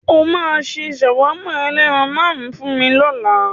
O máa ṣe ṣàwámà ẹlẹ́ran màlúù fún mi lọ́la.